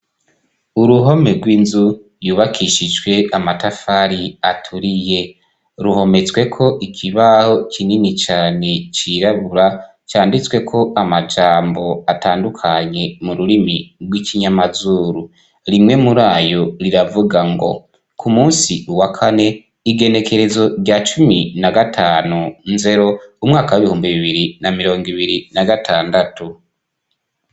Uruhome rw'inzu yubakishijwe amatafari aturiye ruhometsweko ikibaho kinini cane cirabura canditsweko amajambo atandukanye m'ururimi rw'ikinyamazuru. Rimwe muri ayo riravuga ngo k'umunsi wa kane igenekerezo rya cumi nagatanu nzero umwaka w'ibihumbi bibiri na mirong'ibiri na gatandatu.